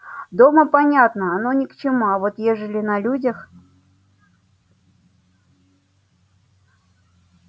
дома понятно оно ни к чему а вот ежели на людях